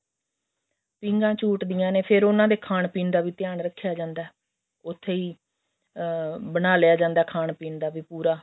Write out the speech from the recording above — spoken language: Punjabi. ਪੀਂਘਾਂ ਝੂਟਦੀਆਂ ਨੇ ਫ਼ੇਰ ਉਹਨਾ ਦੇ ਖਾਣ ਪੀਣ ਦਾ ਵੀ ਧਿਆਨ ਰੱਖਿਆ ਜਾਂਦਾ ਉੱਥੇ ਹੀ ਅਮ ਬਣਾ ਲਿਆ ਜਾਂਦਾ ਖਾਣ ਪੀਣ ਦਾ ਵੀ ਪੂਰਾ